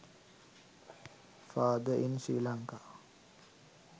father in sri lanka